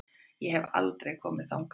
Ég hef aldrei komið þangað.